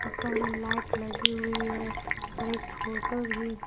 ऊपर में लाइट लगी हुई है और एक फोटो भी--